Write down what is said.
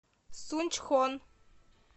сунчхон